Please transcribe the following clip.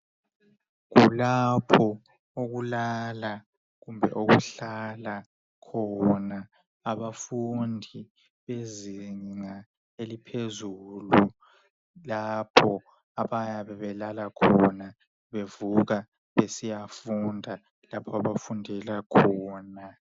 Kulapho okulala kumbe okuhlala khona abafundi bezinga eliphezulu. Lapho abayabe belala khona, bevuka besiyafunda lapho abafundela khona.